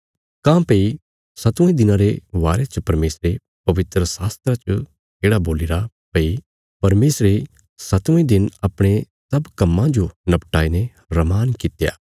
काँह्भई सतवें दिनां रे बारे च परमेशरे पवित्रशास्त्रा च येढ़ा बोलीरा भई परमेशरे सतवें दिन अपणे सब कम्मां जो नपटाई ने रमान कित्या